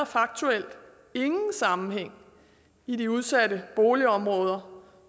faktuelt ingen sammenhæng i de udsatte boligområder